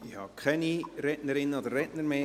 Ich habe keine Rednerinnen oder Redner mehr.